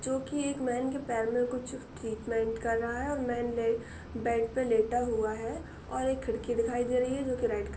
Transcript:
जो की एक मैन की पैर में कुछ ट्रीटमेंट कर रहा है और मैन ले बेड पर लेटा हुआ है और एक खिड़की दिखाई दे रही है जो की रेड --